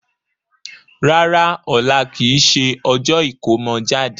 Rárá, ọ̀la kìí ṣe ọjọ́ ìkómọ jáde.